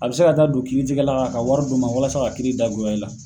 A bɛ se ka taa don kiiri tigɛla kan ka wari don o ma walasa ka kiiri da goya i la.